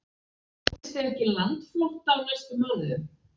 Óttist þið ekki landflótta á næstu mánuðum?